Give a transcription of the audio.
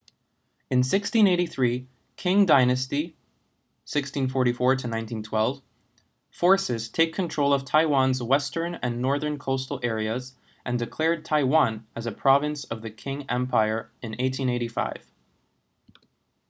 in 1683 qing dynasty 1644-1912 forces take control of taiwan’s western and northern coastal areas and declared taiwan as a province of the qing empire in 1885